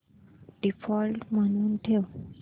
default म्हणून ठेव